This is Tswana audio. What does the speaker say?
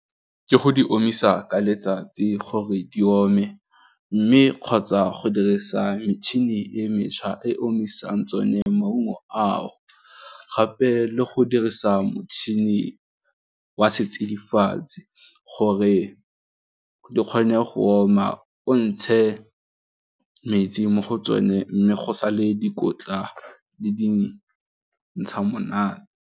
Ke go di omisa ka letsatsi gore di ome mme kgotsa go dirisa metšhini e mešwa e omisang tsone maungo ao. Gape le go dirisa motšhini wa setsidifatsi gore di kgone go oma o ntshe metsi mo go tsone mme go sa le dikotla le di ntsha monate.